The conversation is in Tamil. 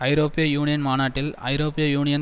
ஐரோப்பிய யூனியன் மாநாட்டில் ஐரோப்பிய யூனியன்